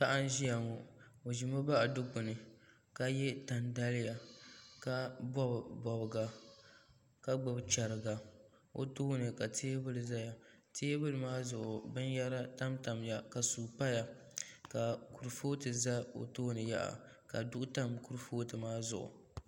Paɣa n ʒiya ŋo o ʒimi baɣa dilpuni ka yɛ tani daliya ka bob bobga ka gbubi chɛriga o tooni ka teebuli ʒɛya teebuli maa zuɣu binyɛra tamtamya ka suu paya ka kurifooti ʒɛ o tooni yaha ka duɣu tam kurifooti maa zuɣu